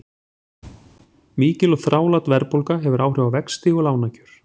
Mikil og þrálát verðbólga hefur áhrif á vexti og lánakjör.